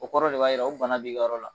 O kɔrɔ de b'a jira o bana de b'i ka yɔrɔ la